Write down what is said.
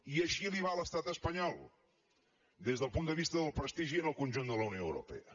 i així li va a l’estat espanyol des del punt de vista del prestigi en el conjunt de la unió europea